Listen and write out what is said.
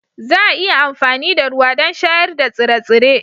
Za a iya amfani da ruwa don shayar da tsire-tsire